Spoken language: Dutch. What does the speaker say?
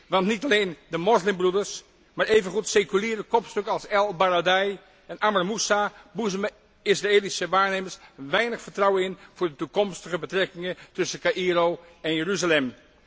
Want niet alleen de Moslimbroeders, maar evengoed seculiere kopstukken als El Baradei en Amr Moussa boezemen Israëlische waarnemers weinig vertrouwen in voor de toekomstige betrekkingen tussen Caïro en Jeruzalem.